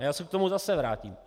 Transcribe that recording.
A já se k tomu zase vrátím.